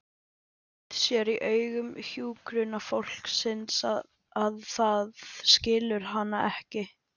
Sér í augum hjúkrunarfólksins að það skilur hana ekki.